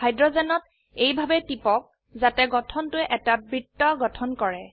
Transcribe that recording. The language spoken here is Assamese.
হাইড্ৰোজেনত এইভাবে টিপক যাতে গঠনটোৱে এটা বৃত্ত গঠন কৰে